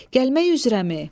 Gəlmək üzrəmi?